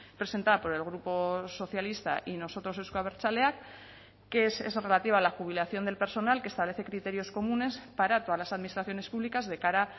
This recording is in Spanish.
presentada por el grupo socialista y nosotros euzko abertzaleak que es relativa a la jubilación del personal que establece criterios comunes para todas las administraciones públicas de cara